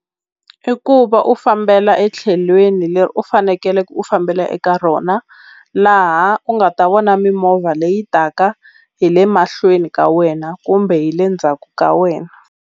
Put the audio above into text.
I ku va u fambela etlhelweni leri u fanekele u fambela eka rona laha u nga ta vona mimovha leyi taka hi le mahlweni ka wena kumbe hi le ndzhaku ka wena.